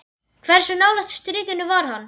Hversu nálægt strikinu var hann?